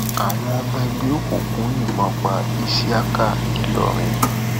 àwọn ọmọ ẹgbẹ òkùnkùn yìnbọn pa iṣíákà ńìlọrin